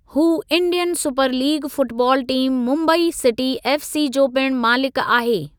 हू Indian super league football team Mumbai city FC जो पिण मालिकु आहे।